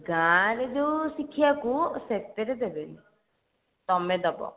ଗାଁ ରେ ଯୋଉ ଶିଖିବାକୁ ସେଥିରେ ଦେବେନି ତମେ ଦେବ